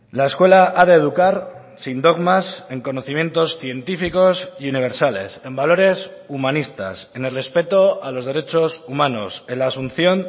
la escuela ha de educar sin dogmas en conocimientos científicos y universales en valores humanistas en el respeto a los derechos humanos en la asunción